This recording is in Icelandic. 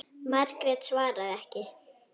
Margrét svaraði ekki.